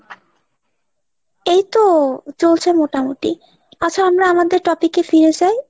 এইতো চলছে মোটামুটি। আচ্ছা আমরা আমাদের topic এ ফিরে যাই ?